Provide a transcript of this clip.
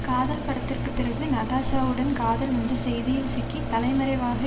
காதல் படத்திற்கு பிறகு நடாஷாவுடன் காதல் என்ற செய்தியில் சிக்கி தலைமறைவாக